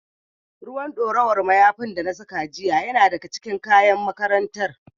Ruwan ɗorawar mayafin da na saka jiya yana daga cikin kayan makarantar.